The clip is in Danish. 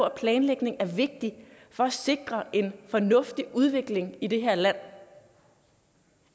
at planlægning er vigtigt for at sikre en fornuftig udvikling i det her land